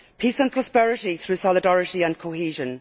Peace and prosperity through solidarity and cohesion.